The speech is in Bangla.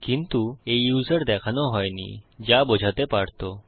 কিন্তু এই ইউসার দেখানো হইনি যা বোঝাতে পারতো